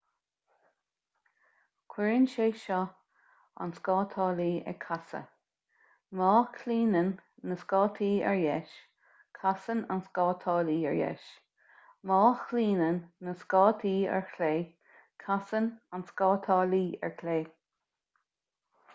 cuireann sé seo an scátálaí ag casadh má chlaonann na scátaí ar dheis casann an scátálaí ar dheis má chlaonann na scátaí ar chlé casann an scátálaí ar chlé